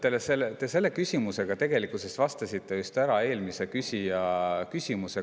Tundub, et te selle küsimusega tegelikult vastasite just ära eelmise küsija küsimusele.